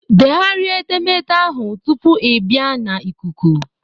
Degharịa edemede ahụ tupu ị bịa na ikuku!